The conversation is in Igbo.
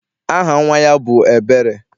Aha nnwa ya bụ Ebere.